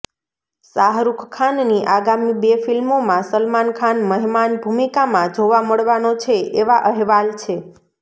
શાહરુખ ખાનની આગામી બે ફિલ્મોમાં સલમાન ખાન મહેમાન ભૂમિકામાં જોવા મળવાનો છે એવા અહેવાલ છે